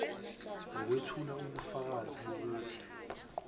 lokwethula ubufakazi bokuthi